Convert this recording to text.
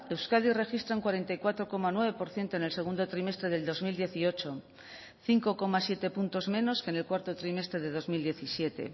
euskadi registra un cuarenta y cuatro coma nueve por ciento en el segundo trimestre del dos mil dieciocho cinco coma siete puntos menos que en el cuarto trimestre de dos mil diecisiete